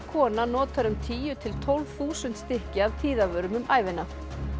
kona notar um tíu til tólf þúsund stykki af tíðavörum um ævina